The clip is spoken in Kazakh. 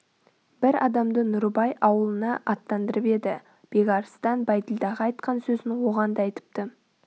бір адамды нұрыбай аулына аттандырып еді бекарыстан бәйділдаға айтқан сөзін оған да айтыпты